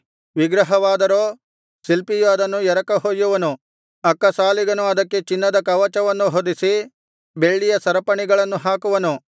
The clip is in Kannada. ವಿಗ್ರಹವಾದರೋ ಶಿಲ್ಪಿಯು ಅದನ್ನು ಎರಕಹೊಯ್ಯುವನು ಅಕ್ಕಸಾಲಿಗನು ಅದಕ್ಕೆ ಚಿನ್ನದ ಕವಚವನ್ನು ಹೊದಿಸಿ ಬೆಳ್ಳಿಯ ಸರಪಣಿಗಳನ್ನು ಹಾಕುವನು